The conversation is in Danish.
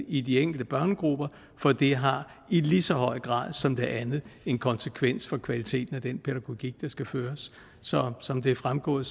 i de enkelte børnegrupper for det har i lige så høj grad som det andet en konsekvens for kvaliteten af den pædagogik der skal føres så som det er fremgået